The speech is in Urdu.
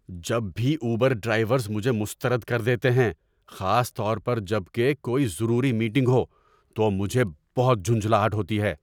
جب بھی اوبر ڈرائیورز مجھے مسترد کر دیتے ہیں، خاص طور پر جب کہ کوئی ضروری میٹنگ ہو، تو مجھے بہت جھنجھلاہٹ ہوتی ہے۔